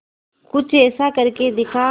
कुछ ऐसा करके दिखा